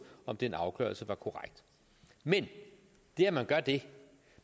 om den afgørelse var korrekt men det at man gør det